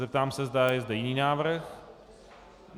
Zeptám se, zda je zde jiný návrh.